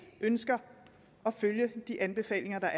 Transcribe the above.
ønsker at følge de anbefalinger